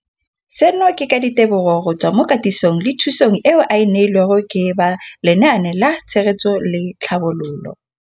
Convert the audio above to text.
Seno ke ka ditebogo go tswa mo katisong le thu song eo a e neilweng ke ba Lenaane la Tshegetso le Tlhabololo ya.